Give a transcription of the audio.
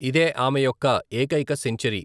ఇదే ఆమె యొక్క ఏకైక సెంచరీ.